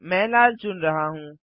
मैं लाल चुन रहा हूँ